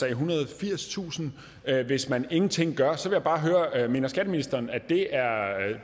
ethundrede og firstusind hvis man ingenting gør så vil jeg bare høre mener skatteministeren det er